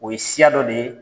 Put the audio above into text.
O ye siya dɔ de ye